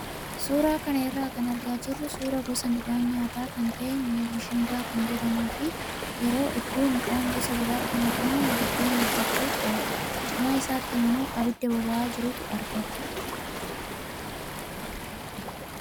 Suuraa kana irraa kan argaa jirru suuraa gosa midhaan nyaataa kan ta'e mishingaa kan jedhamuu fi yeroo hedduu midhaan gosa biraatti makamuun buddeena hojjachuuf oola. Cinaa isaatti immoo abidda boba'aa jirutu argama.